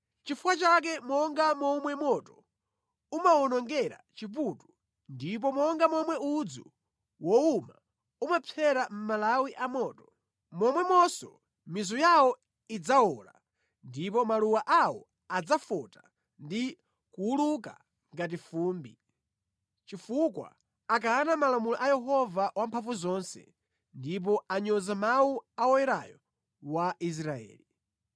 Nʼchifukwa chake monga momwe moto umawonongera chiputu ndipo monga momwe udzu wowuma umapsera mʼmalawi a moto, momwemonso mizu yawo idzawola ndipo maluwa awo adzafota ndi kuwuluka ngati fumbi; chifukwa akana malamulo a Yehova Wamphamvuzonse, ndipo anyoza mawu a Woyerayo wa Israeli.